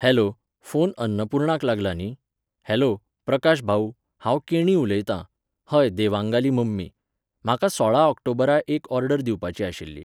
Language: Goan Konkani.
हॅलो, फोन अन्नपुर्णाक लागला न्ही? हॅलो, प्रकाश भाऊ, हांव केणी उलयतां, हय देवांगाली मम्मी. म्हाका सोळा ऑक्टोबरा एक ऑर्डर दिवपाची आशिल्ली